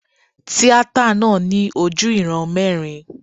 Tíátà náà ní ojú ìran mẹ́rin.